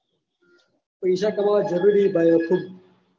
પેસા કમાવા જરૂરી હે ભાઈ ખુબ